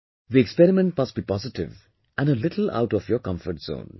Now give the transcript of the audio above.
The experiment must be positive and a little out of your comfort zone